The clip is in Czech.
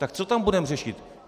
Tak co tam budeme řešit?